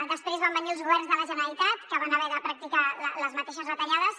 després van venir els governs de la generalitat que van haver de practicar les mateixes retallades